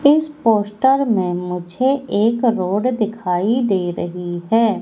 इस पोस्टर में मुझे एक रोड दिखाई दे रही है।